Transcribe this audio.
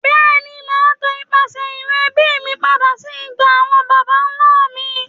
Bẹ́ẹ̀ni, màá tọ ipasẹ̀ ìran ẹbí mi padà sí ìgbà àwọn baba ńlá mi.